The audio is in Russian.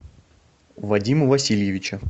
вадима васильевича